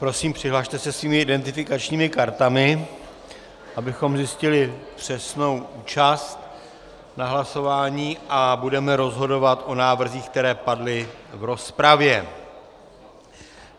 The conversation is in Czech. Prosím, přihlaste se svými identifikačními kartami, abychom zjistili přesnou účast na hlasování, a budeme rozhodovat o návrzích, které padly v rozpravě.